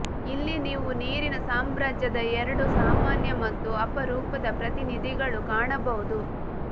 ಇಲ್ಲಿ ನೀವು ನೀರಿನ ಸಾಮ್ರಾಜ್ಯದ ಎರಡೂ ಸಾಮಾನ್ಯ ಮತ್ತು ಅಪರೂಪದ ಪ್ರತಿನಿಧಿಗಳು ಕಾಣಬಹುದು